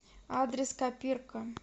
адрес копирка